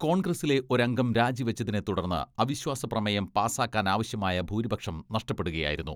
കോൺഗ്രസിലെ ഒരംഗം രാജി വെച്ചതിനെ തുടർന്ന് അവിശ്വാസ പ്രമേയം പാസ്സാക്കാനാവശ്യമായ ഭൂരിപക്ഷം നഷ്ടപ്പെടുകയാ യിരുന്നു.